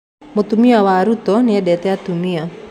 Mutumia wa Ruto nĩendete atumia